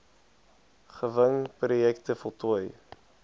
gewing projekte voltooi